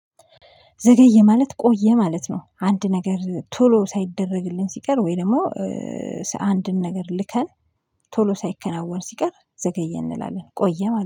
ዘገየ ማለት ቆየ ማለት ነው። አንድ ነገር ቶሎ ሳይደረግልን ሲቀር ወይ ደግሞ? አንድን ነገር ልከን ቶሎ ሳይከናወን ሲቀር ዘገየ እንላለን ቆየ ማለት ነው